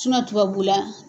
tubabula